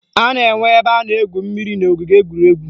A na-enwe ebe a na-egwu mmiri n'ogige egwuregwu